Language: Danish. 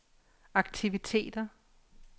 aktiviteter